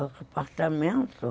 Apartamento?